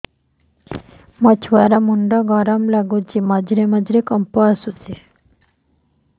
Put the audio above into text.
ମୋ ଛୁଆ ର ମୁଣ୍ଡ ଗରମ ଲାଗୁଚି ମଝିରେ ମଝିରେ କମ୍ପ ଆସୁଛି